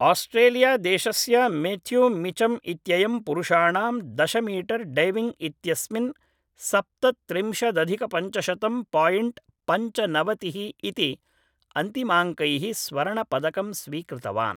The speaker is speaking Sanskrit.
आस्ट्रेलियादेशस्य मेथ्यू मिचम् इत्ययं पुरुषाणां दशमीटर् डैविङ्ग् इत्यस्मिन् सप्तत्रिंशदधिकपञ्चशतं पायिण्ट् पञ्चनवतिः इति अन्तिमाङ्कैः स्वर्णपदकं स्वीकृतवान्